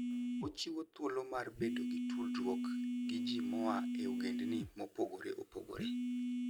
Ochiwo thuolo mar bedo gi tudruok gi ji moa e ogendini mopogore opogore.